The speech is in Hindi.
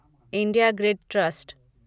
India grid trust